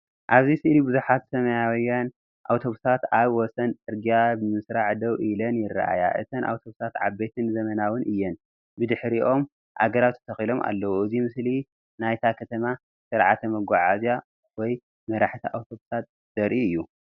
ኣብዚ ስእሊ ብዙሓት ሰማያውያን ኣውቶቡሳት ኣብ ወሰን ጽርግያ ብመስርዕ ደው ኢለን ይረኣያ። እተን ኣውቶቡሳት ዓበይትን ዘመናውያንን እየን።፡ ብድሕሪኦም ኣግራብ ተተኺሎም ኣለዉ። እዚ ምስሊ ናይታ ከተማ ስርዓተ መጓዓዝያ ወይ መራሕቲ ኣውቶቡሳት ዘርኢ እዩ።